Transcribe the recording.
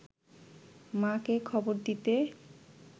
মা’কে খবর দিতে